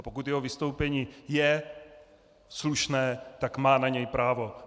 A pokud jeho vystoupení je slušné, tak na ně má právo.